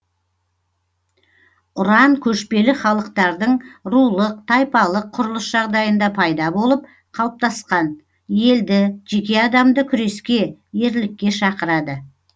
ұран көшпелі халықтардың рулық тайпалық құрылыс жағдайында пайда болып қалыптасқан елді жеке адамды күреске ерлікке шақырады